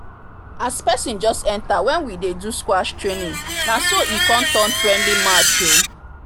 as person just enter when we dey do squash training na so e come turn friendly match o